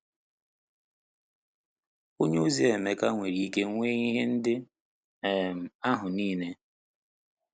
Onyeozi Emeka nwere ike nwee ihe ndị um ahụ niile.